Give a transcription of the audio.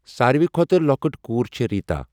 ساروی کھوتہٕ لۄکٕٹ کوٗر چھِ ریتا۔